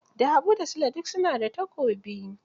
Da habu da sule duk su na da takobi